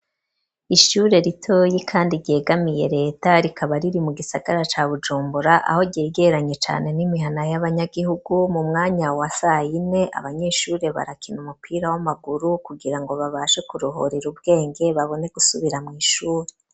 Ishure ritoyi kandi ryegamiye reta rikaba riri mu gisagara ca bujumbura aho ryegeranye cane n'imihana y'abanyagihugu mu mwanya wa sayine abanyeshure barakina umupira w'amaguru kugira ngo babashe kurogorera ubwenge babone gusubira mw'ishure.